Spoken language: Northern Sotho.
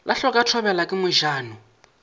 la hloka thobela ke mojano